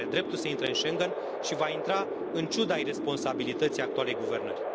România are dreptul să intre în Schengen și va intra, în ciuda iresponsabilității actualei guvernări.